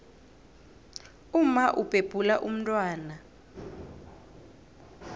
umma ubhebhula umntwana